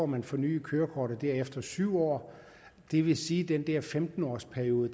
man fornyet kørekortet der efter syv år det vil sige at den her femten års periode